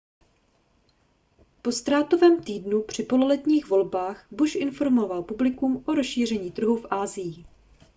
po ztrátovém týdnu při pololetních volbách bush informoval publikum o rozšíření trhu v asii